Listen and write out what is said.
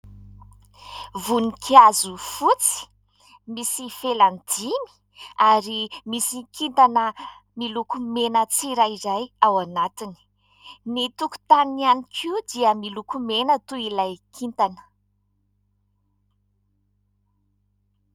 Voninkazo fotsy misy felany dimy ary misy kintana miloko mena tsirairay ao anatiny. Ny tokotaniny ihany koa dia miloko mena toy ilay kintana.